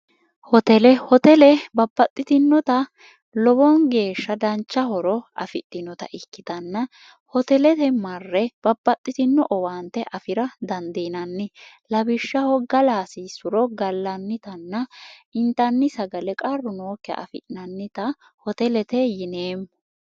hotelehotele babbaxxitinota lowoon geeshsha danchahoro afidhinota ikkitanna hotelete marre babpaxxitino owaante afira dandiinanni labishshaho galaasi suro gallannitanna intanni sagale qarru nookke afi'nannita hotelete yineemmo